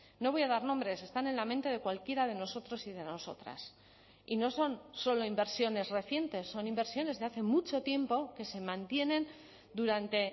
no voy a dar nombres están en la mente de cualquiera de nosotros y de nosotras y no son solo inversiones recientes son inversiones de hace mucho tiempo que se mantienen durante